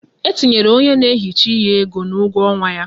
E tinyere onye na ehicha ihe ego n'ugwo ọnwa ya